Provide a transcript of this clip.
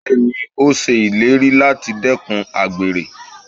Bẹ́ẹ̀ni, ó ṣe ìlérí láti dẹ́kun àgbèrè.